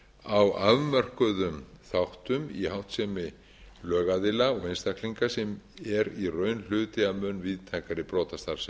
á afmörkuðum þáttum í háttsemi lögaðila og einstaklinga sem er í raun hluti af mun víðtækari brotastarfsemi